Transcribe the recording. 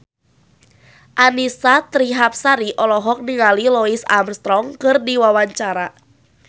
Annisa Trihapsari olohok ningali Louis Armstrong keur diwawancara